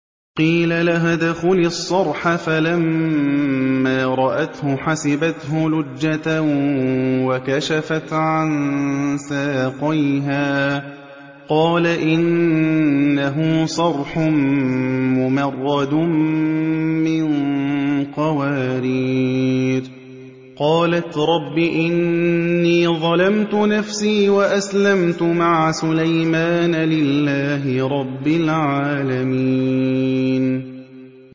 قِيلَ لَهَا ادْخُلِي الصَّرْحَ ۖ فَلَمَّا رَأَتْهُ حَسِبَتْهُ لُجَّةً وَكَشَفَتْ عَن سَاقَيْهَا ۚ قَالَ إِنَّهُ صَرْحٌ مُّمَرَّدٌ مِّن قَوَارِيرَ ۗ قَالَتْ رَبِّ إِنِّي ظَلَمْتُ نَفْسِي وَأَسْلَمْتُ مَعَ سُلَيْمَانَ لِلَّهِ رَبِّ الْعَالَمِينَ